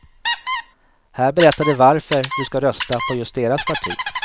Här berättar de varför du ska rösta på just deras parti.